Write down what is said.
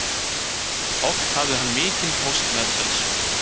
Oft hafði hann mikinn póst meðferðis.